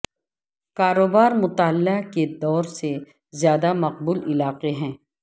کاروبار مطالعہ کے دور سے زیادہ مقبول علاقے ہے